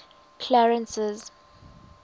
clarence's